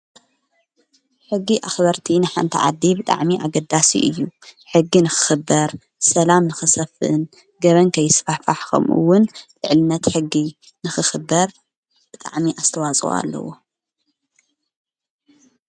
ሕጊ ኣኽበርቲ ንሓእንተ ዓዲ ብጥዕሚ ኣገዳስ እዩ ሕጊ ንኽኽበር ሰላም ንኽሰፍን ገበን ከይስፋሕፋሕ ኸምኡውን ልዕልነት ሕጊ ንኽኽበር ብጥዕሚ ኣስተዋፅዋ ኣለዎ።